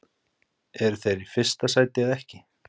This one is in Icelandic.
Eru þeir í fyrsta sæti eða ekki?